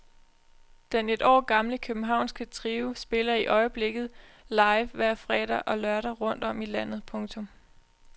Den et år gamle københavnske trio spiller i øjeblikket live hver fredag og lørdag rundt om i landet. punktum